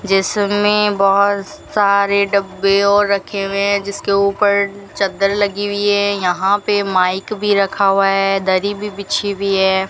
ये सब मे बहोत सारे डब्बे और रखे हुए है जिसके ऊपर चद्दर लगी हुई है यहां पे माइक भी रखा हुआ है दरी भी बिछी हुई है।